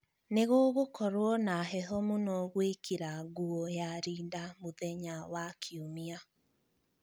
Nĩ gũgũkorũo na heho mũno gwĩkĩra nguo ya rinda mũthenya wa Kiumia.